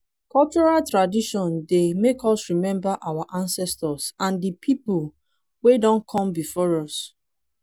cultural tradition dey make us remember our ancestors and di pipo wey don come before us